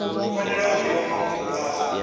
fanela u divha mafhungo phanda